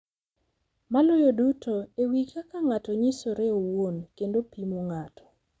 Maloyo duto, e wi kaka ng’ato nyisore owuon kendo pimo ng’ato.